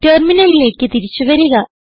ടെർമിനലിലേക്ക് തിരിച്ചു വരിക